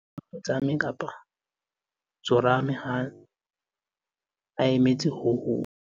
o ne a kotsame, tsorame ha a emetse ho hong